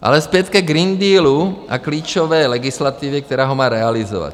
Ale zpět ke Green Dealu a klíčové legislativě, která ho má realizovat.